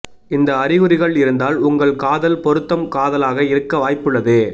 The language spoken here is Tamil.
இந்த அறிகுறிகள் இருந்தால் உங்கள் காதல் பொருத்தம் காதலாக இருக்க வாய்ப்புள்ளது